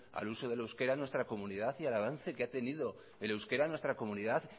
al uso del euskera en nuestra comunidad y el avance que ha tenido el euskera en nuestra comunidad